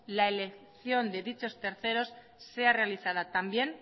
la elección de dichos terceros sea realizada también